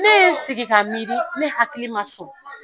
Ne ye n sigi ka miiri , ne hakili ma sɔn.